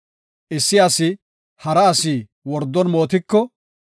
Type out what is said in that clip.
Issi asi hara asi wordon mootiko,